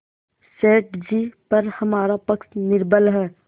सेठ जीपर हमारा पक्ष निर्बल है